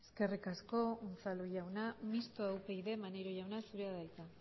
eskerrik asko unzalu jauna mistoa upyd maneiro jauna zurea da hitza